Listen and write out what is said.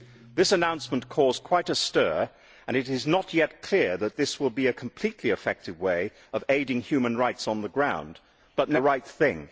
This announcement caused quite a stir, and it is not yet clear that this will be a completely effective way of aiding human rights on the ground, but nevertheless it is the right thing.